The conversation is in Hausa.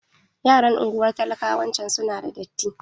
Yaran unguwar talakawayawanci su na da datti.